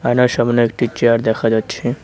আয়নার সামনে একটি চেয়ার দেখা যাচ্ছে।